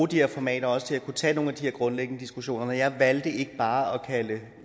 de her formater til også at kunne tage nogle af de grundlæggende diskussioner når jeg valgte ikke bare at kalde